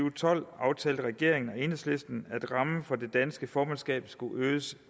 og tolv aftalte regeringen og enhedslisten at rammen for det danske formandskab skulle øges